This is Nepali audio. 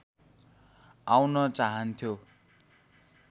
आउन चाहन्थ्यो